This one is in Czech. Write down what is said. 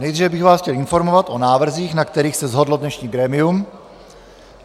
Nejdříve bych vás chtěl informovat o návrzích, na kterých se shodlo dnešní grémium.